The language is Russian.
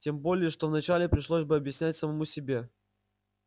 тем более что вначале пришлось бы объяснять самому себе